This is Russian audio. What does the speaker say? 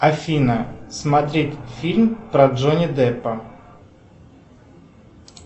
афина смотреть фильм про джонни деппа